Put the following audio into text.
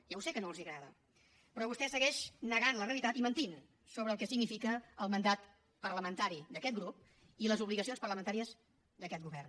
ja ho sé que no els agrada però vostè segueix negant la realitat i mentint sobre el que significa el mandat parlamentari d’aquest grup i les obligacions parlamentàries d’aquest govern